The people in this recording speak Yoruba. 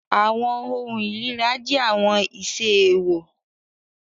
Awọn ohun irira jẹ awọn iṣe eewọ